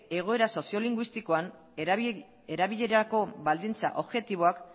egoera soziolinguistikoan erabilerarako baldintza objektiboak